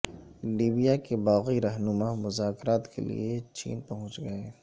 Libya کے باغی رہنما مذاکرات کے لیے چین پہنچ گئے